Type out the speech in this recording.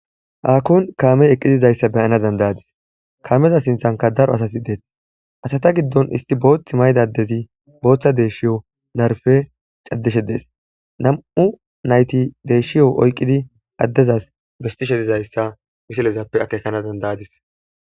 haakkon kaamey eqqizizayssa beyana dandayadis kaameza sinthanka daro asati deeth asata giddon isti boothth maydadezi booththa deeshshiyo narfe caddishe dees nam7u nayti deeshshiyo oyqqidi addezas bestishe dizayssa misilezappe akeekana dandayadis